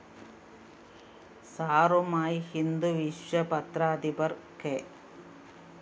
സാറുമായി ഹിന്ദുവിശ്വ പത്രാധിപര്‍ കെ